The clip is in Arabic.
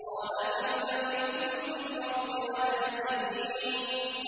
قَالَ كَمْ لَبِثْتُمْ فِي الْأَرْضِ عَدَدَ سِنِينَ